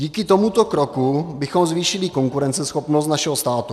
Díky tomuto kroku bychom zvýšili konkurenceschopnost našeho státu.